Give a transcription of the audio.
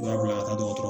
U b'a bila ka taa dɔgɔtɔrɔ